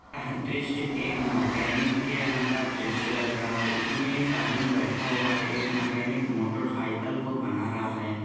यह दृश्य एक मैकेनिक के यहां का दृश्य लग रहा है इसमें एक आदमी बैठा हुआ है एक मैकेनिक मोटरसाइकिल को बना रहा है